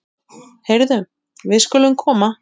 Heyrðu, við skulum koma.